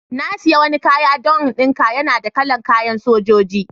Na siya wani kaya don n'dinka. Yana da kala'n kayan Sojoji.